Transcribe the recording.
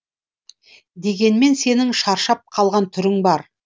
дегенмен сенің шаршап қалған түрің бар